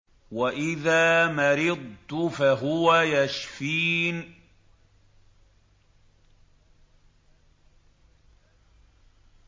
وَإِذَا مَرِضْتُ فَهُوَ يَشْفِينِ